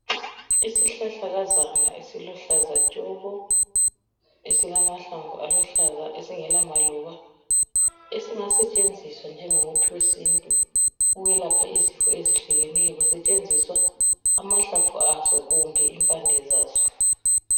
Isihlahlakazana esiluhlaza tshoko esilamahlamvu aluhlaza esingela maluba. Esingasetshenziswa njengomuthi wesintu ukwelapha izifo ezehlukeneyo kusetshenziswa, amahlamvu aso kumbe impande zaso.